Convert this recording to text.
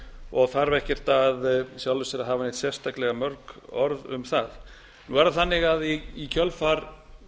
og þarf ekkert í sjálfu sér að hafa neitt sérstaklega mörg orð um það nú er það þannig að í kjölfar